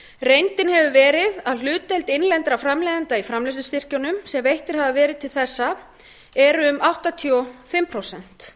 reyndin hefur verið að hlutdeild innlendra framleiðenda í framleiðslustyrkjunum sem veittir hafa verið til þessa eru um áttatíu og fimm prósent